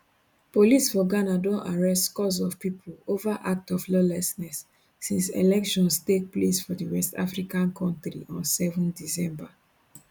police for ghana don arrest scores of pipo ova act of lawlessness since elections take place for di west african kontri on 7 december